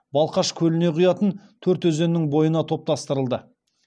балқаш көліне құятын төрт өзеннің бойына топтастырылды